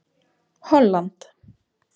Holland